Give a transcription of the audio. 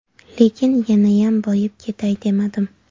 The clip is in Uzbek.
Lekin yanayam boyib ketay demadim.